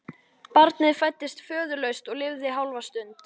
Barnið fæddist föðurlaust og lifði hálfa stund.